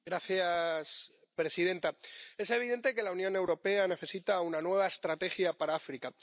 Señora presidenta, es evidente que la Unión Europea necesita una nueva estrategia para África.